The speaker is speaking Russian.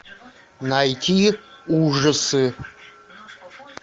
найти ужасы